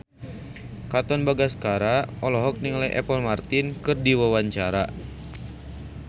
Katon Bagaskara olohok ningali Apple Martin keur diwawancara